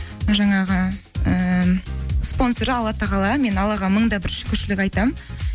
жаңағы ііі спонсоры алла тағала мен аллаға мың да бір шүкіршілік айтамын